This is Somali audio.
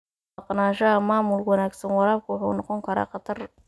Maqnaanshaha maamul wanaagsan, waraabku wuxuu noqon karaa khatar.